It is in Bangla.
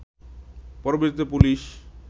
পরবর্তীতে পুলিশ